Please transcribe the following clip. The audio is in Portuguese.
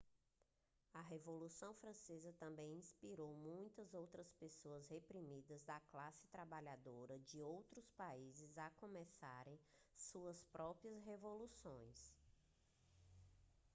a revolução francesa também inspirou muitas outras pessoas reprimidas da classe trabalhadora de outros países a começarem suas próprias revoluções